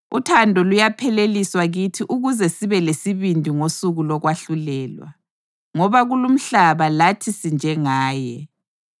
Uthando luyapheleliswa kithi ukuze sibe lesibindi ngosuku lokwahlulelwa, ngoba kulumhlaba lathi sinjengaye.